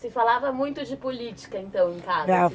Se falava muito de política, então, em casa?